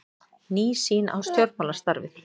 Ný sýn á stjórnmálastarfið